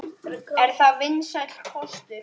Er það vinsæll kostur?